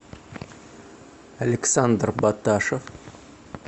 александр баташев